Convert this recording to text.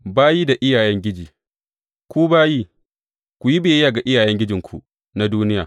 Bayi da iyayengiji Ku bayi, ku yi biyayya ga iyayengijinku na duniya.